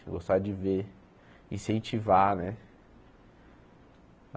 Gostar de ver, incentivar, né?